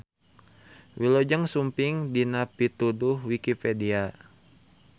Wilujeng sumping dina Pituduh Wikipedia.